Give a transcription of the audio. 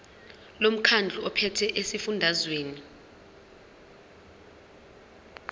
lomkhandlu ophethe esifundazweni